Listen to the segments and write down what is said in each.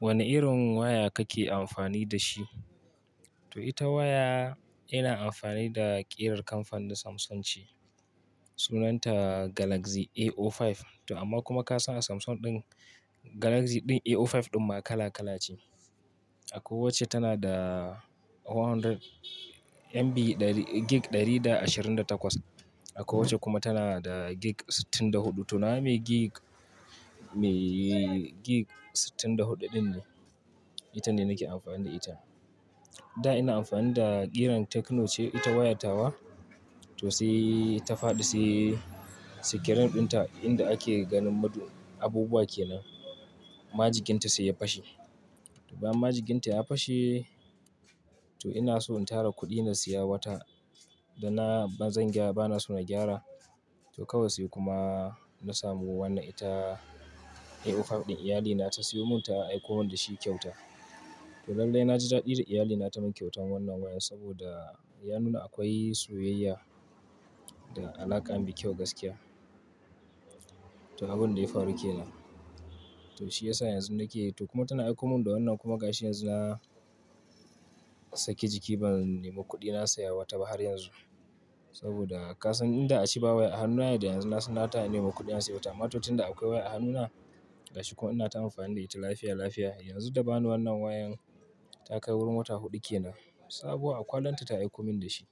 Wane irin waya kake amfani da shi? To ita waya ina amfani da ƙirar kamfanin Samsung ce. Sunanta Galaxy A05. To amma kuma ka san a Samsung ɗin, Galaxy ɗin A05 ɗin ma kala kala ce. Akowacce tana da 400 MB, gig 128, akowacce kuma tana da gig 64. To na mai gig, mai gig sittin da hudu ɗin ne. Ita ne nake amfani da ita. Da ina amfani da ƙiran Tecno ce, ita waya tawa. To sai ta faɗi sai sikirin ɗinta inda ake ganin madubbu, abubuwa ke nan, majikin ta sai ya fashe. To bayan majikin ta ya fashe, to ina so in tara kuɗi na siya wata. Da na, ba zan gyara, ba na so na gyara. To kawai sai kuma na samu wannan ita A05 ɗin. Iyalli na ta siyo mun ta aiko min da shi kyauta. To lallai na ji daɗi da iyali na ta min kyautan wannan waya saboda ya nuna akwai soyayya da alaƙa mai kyau gaskiya. To abin da ya faru ke nan. To shi ya sa yanzu nake yi. To kuma tana aiko min da wannan kuma ga shi yanzu na saki jiki ban nemo kuɗi na saya wata ba har yanzu. Saboda ka san inda a ci bawaya a hannuna da yanzu na, na ta nemo kuɗi na siya wata. amMa to tun da akwai waya a hannuna, gashi ko ina ta amfani da ita lafiya, lafiya, yanzu da ba ni wannan wayan ta kai wurin wata huɗu ke nan. Sabo a ƙwalanta ta aiko min da shi.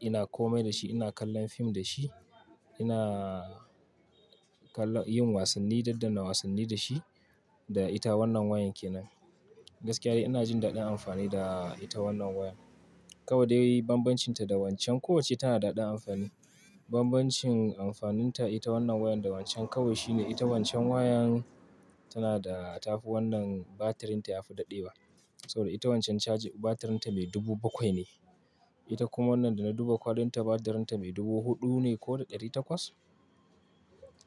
Ina kome da shi, ina kallon fim da shi, ina kallo, yin wasanni, daddanna wasanni da shi da ita wannan wayan ke nan. Gaskiya dai ina jin daɗin amfani da ita wannan wayar. Kawai dai bambancin ta da wancan, kowacce tana da daɗin amfani. Bambancin amfanin ta ita wannan wayar da wancan kawai shine ita wancan wayan tana da, ta fi wannan batirin ta ya fi daɗe wa. Saboda ita wancan caji batirin ta mai dubu bakwai ne. Ita kuma wannan da na duba kwalin ta batirin ta mai dubu huɗu ne ko da ɗari takwas?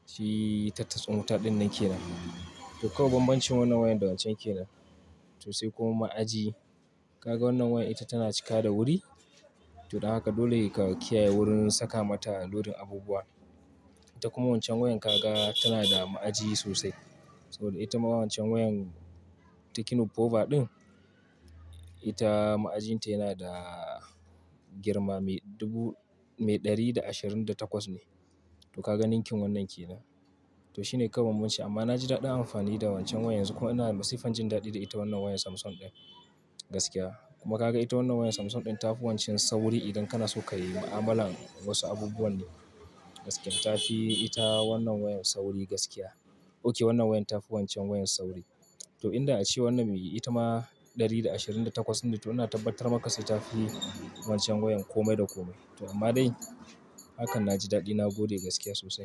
Shi tastin wuta ɗin nan ke nan. To kawai bambancin wannan wayar da wancan ke nan. To sai kuma ma'aji, ka ga wannan waya ita tana cika da wuri. To don haka dole ka kiyaye wurin saka mata lodin abubuwa. Ita kuma wancan wayan kaga tana da ma'aji sosai. Saboda ita ma wancan wayan Tecno Pova ɗin, ita ma'ajin ta yana da girma mai dubu, mai ɗari da ashirin da takwas ne. To ka ga ninkin wannan ke nan. To shi ne kawai bambanci amma na ji daɗin amfani da wancan wayan yanzu kuma ina masifan jin daɗi da ita wannan wayar Samsung ɗin gaskiya. Kuma ka ga ita wannan wayar Samsung ɗin ta fi wancan sauri idan kana so ka yi ma'amalan wasu abubuwa ne gaskiya. Ta fi ita wannan wayar sauri gaskiya. Oke wannan wayar ta fi wancan wayan sauri. To inda a ci wannan mai ita ma ɗari da ashirin da takwas ɗin ne to ina tabbatar maka sai ta fi wancan wayan kome da kome. To amma dai hakan na ji daɗi na gode gaskiya sosai.